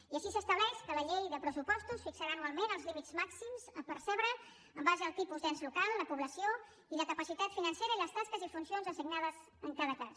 i així s’estableix que la llei de pressupostos fixarà anualment els límits màxims a percebre en base al tipus d’ens local la població i la capacitat financera i les tasques i funcions assignades en cada cas